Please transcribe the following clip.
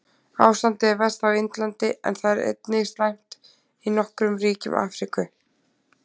Ástandið er verst á Indlandi en það er einnig slæmt í nokkrum ríkjum í Afríku.